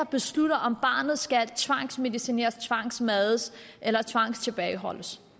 beslutter om barnet skal tvangsmedicineres tvangsmades eller tvangstilbageholdes